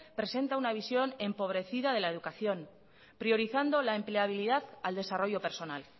presenta una visión empobrecida de la educación priorizando la empleabilidad al desarrollo personal